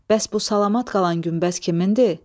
Bəs bu salamat qalan günbəz kimindir?